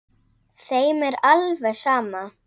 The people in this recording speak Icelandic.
Þeim er alveg sama.